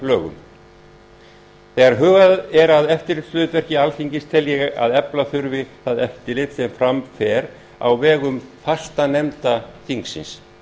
upplýsingalögum þegar hugað er að eftirlitshlutverki alþingis tel ég að efla þurfi það eftirlit sem fram fer á vegum fastanefnda þingsins